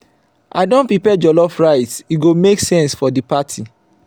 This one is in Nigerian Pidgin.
i don prepare jollof rice e go make sense for di party.